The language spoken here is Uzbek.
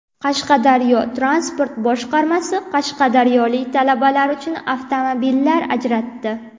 Qashqadaryo transport boshqarmasi qashqadaryolik talabalar uchun avtomobillar ajratdi.